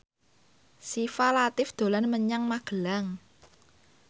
Syifa Latief dolan menyang Magelang